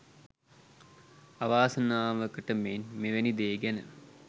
අවාසනාවකට මෙන් මෙවැනි දේ ගැන